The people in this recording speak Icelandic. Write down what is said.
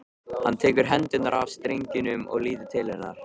Hann tekur hendurnar af strengjunum og lítur til hennar.